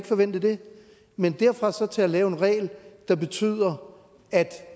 forvente det men derfra og så til at lave en regel der betyder at